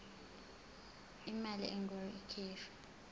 imali engur ikhishwa